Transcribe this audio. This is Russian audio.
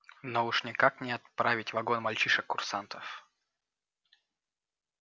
но уж никак не отравить вагон мальчишек-курсантов